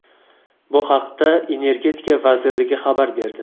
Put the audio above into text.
Bu haqda Energetika vazirligi xabar berdi .